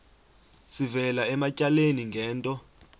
sivela ematyaleni ngento